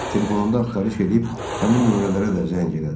Telefonunda axtarış eləyib həmin nömrələrə də zəng elədi.